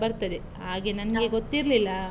ಬರ್ತದೆ, ಹಾಗೆ ನಂಗೆ ಗೊತ್ತಿರ್ಲಿಲ್ಲಾ.